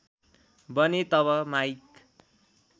बने तब माइक